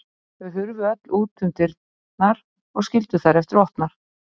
Þau hurfu öll út um dyrnar og skildu þær eftir opnar.